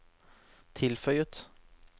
tilføyet